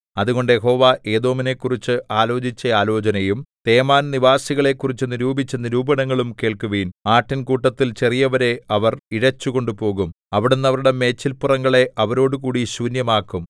അതുകൊണ്ട് യഹോവ ഏദോമിനെക്കുറിച്ച് ആലോചിച്ച ആലോചനയും തേമാൻ നിവാസികളെക്കുറിച്ച് നിരൂപിച്ച നിരൂപണങ്ങളും കേൾക്കുവിൻ ആട്ടിൻകൂട്ടത്തിൽ ചെറിയവരെ അവർ ഇഴച്ചുകൊണ്ടുപോകും അവിടുന്ന് അവരുടെ മേച്ചിൽപ്പുറങ്ങളെ അവരോടുകൂടി ശൂന്യമാക്കും